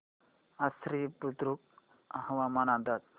आश्वी बुद्रुक हवामान अंदाज